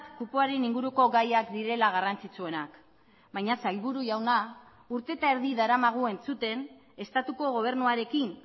kupoaren inguruko gaiak direla garrantzitsuenak baina sailburu jauna urte eta erdi daramagu entzuten estatuko gobernuarekin